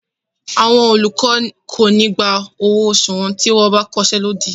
Àwọn olùkọ́ ò ní gba owó oṣù wọn tí wọ́n ba iṣé lódì.